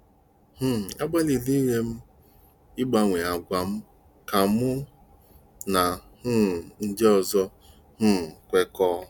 um “Agbalịrị m ịgbanwe àgwà m ka mụ na um ndị ọzọ um kwekọọ.